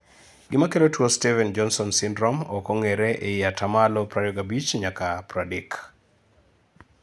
Gima kelo tuo Steven jonsone synrome ok ongere ei ataa malo 25 nyaka 30%